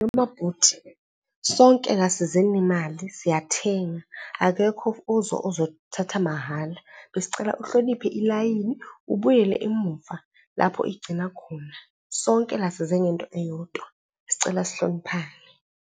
bhuti, sonke la size ngemali siyathenga, akekho ozothatha mahhala. Besicela uhloniphe ilayini, ubuyele emuva lapho igcina khona. Sonke la size ngento eyodwa, sicela sihloniphane.